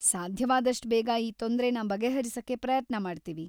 ಸಾಧ್ಯವಾದಷ್ಟ್ ಬೇಗ ಈ ತೊಂದ್ರೆನ ಬಗೆಹರಿಸಕ್ಕೆ ಪ್ರಯತ್ನ ಮಾಡ್ತೀವಿ.